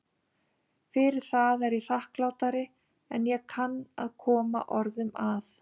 Fyrir það er ég þakklátari en ég kann að koma orðum að.